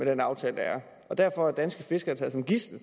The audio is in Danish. den aftale der er derfor er danske fiskere taget som gidsler